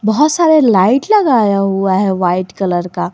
बहुत सारे लाइट लगाया हुआ है वाइट कलर का।